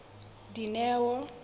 dineo